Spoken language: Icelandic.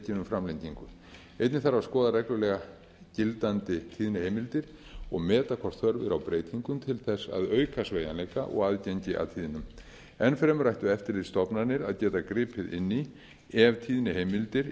um framlengingu einnig þarf að skoða reglulega gildandi tíðniheimildir og meta hvort þörf er á breytingum til þess að auka sveigjanleika og aðgengi að tíðnum enn fremur ættu eftirlitsstofnanir að geta gripið inn í ef tíðniheimildir